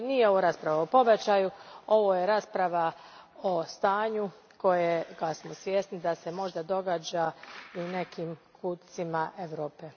Znači nije ovo rasprava o pobačaju, ovo je rasprava o stanju za koje smo svjesni da se možda događa i u nekim kutcima Europe.